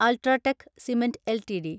UltraTech cement LTD